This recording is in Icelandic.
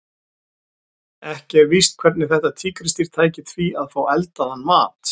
Ekki er víst hvernig þetta tígrisdýr tæki því að fá eldaðan mat.